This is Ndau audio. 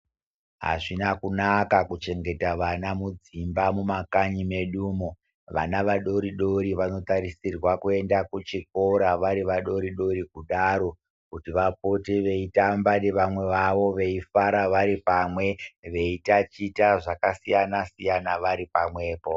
Hazvina kunaka kuchegeta vana mudzimba mumakanyi mwedumo vana vadoridori vanotarisirwa kuenda kuchikora vari vadoridori kudaro kuti vapote veitamba nevamwe vavo , veifara varipamwe ,veitaticha zvakasiyanasiyana vari pamwepo.